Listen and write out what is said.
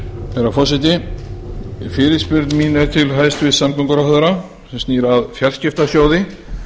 herra forseti fyrirspurn mín er til hæstvirts samgönguráðherra sem snýr að fjarskiptasjóði